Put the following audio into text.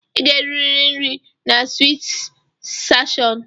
Ị ga-eriri nri na Sweet sensashọn!